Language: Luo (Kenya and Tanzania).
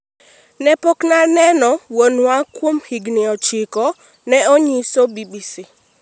ne pok na aneno wuonwa kuom higni ochiko," ne onyiso BBC